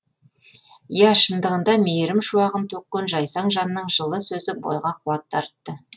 иә шындығында мейірім шуағын төккен жайсаң жанның жылы сөзі бойға қуат дарытты